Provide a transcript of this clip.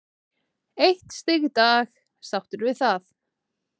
Eitt stig í dag, sáttur við það?